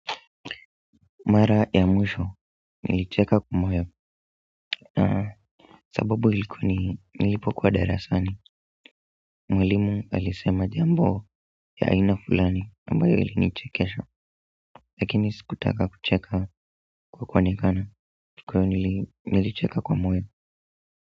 Mara ya mwisho, nilicheka kwa moyo, na sababu ilikuwa ni nilipokuwa darasani, mwalimu alisema jambo ya aina fulani, ambayo ilinichekesha, lakini sikutaka kucheka kwa kuonekana, kwa hivyo nili nilicheka kwa moyo.